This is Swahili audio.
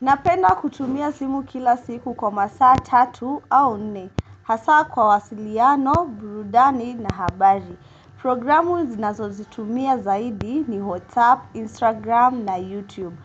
Napenda kutumia simu kila siku kwa masaa tatu au nne. Hasa kwa wasiliano, burudani na habari. Programu zinazo zitumia zaidi ni WhatsApp, Instagram na YouTube.